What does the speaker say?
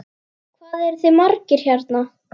Hvað eruð þið margir hérna?